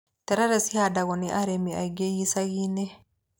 Terere cihandagwo nĩ arĩmi aingĩ icagi-inĩ.